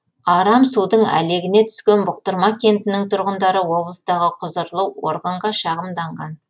арам судың әлегіне түскен бұқтырма кентінің тұрғындары облыстағы құзырлы органға шағымданған